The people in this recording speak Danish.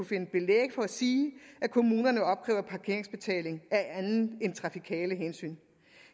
finde belæg for at sige at kommunerne opkræver parkeringsbetaling af end trafikale hensyn